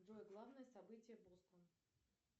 джой главное событие бостон